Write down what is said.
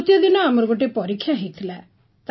ତୃତୀୟ ଦିନ ଆମର ଗୋଟିଏ ପରୀକ୍ଷା ହୋଇଥିଲା